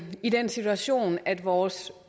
i den situation at vores